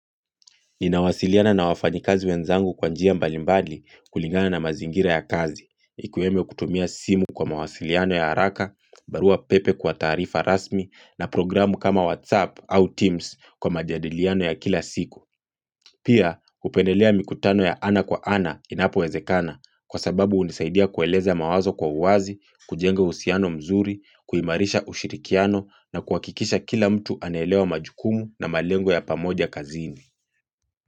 Ninawasiliana na wafanyikazi wenzangu kwa njia mbalimbali kulingana na mazingira ya kazi, ikwemo kutumia simu kwa mawasiliano ya haraka, barua pepe kwa taarifa rasmi na programu kama WhatsApp au Teams kwa majadiliano ya kila siku. Pia, hupendelea mikutano ya ana kwa ana inapowezekana kwa sababu hunisaidia kueleza mawazo kwa uwazi, kujenga uhusiano mzuri, kuimarisha ushirikiano na kuhakikisha kila mtu anaelewa majukumu na malengo ya pamoja kazini.